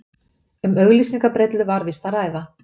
Um auglýsingabrellu var víst að ræða